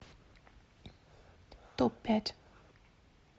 топ пять